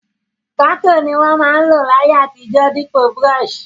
Pákò ni won ma n lò láyé àtijó dípò brush